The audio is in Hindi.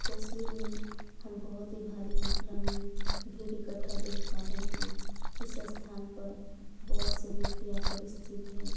तस्वीर में हम बहुत ही भारी मात्रा में भीड़ इकट्ठा देख पा रहे हैं। इस स्थान पर बहुत से व्यक्ति आकर स्थित है।